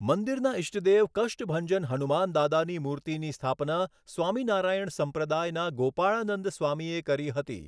મંદિરના ઈષ્ટદેવ કષ્ટભંજન હનુમાનદાદાની મૂર્તિની સ્થાપના સ્વામિનારાયણ સંપ્રદાયના ગોપાળાનંદ સ્વામીએ કરી હતી.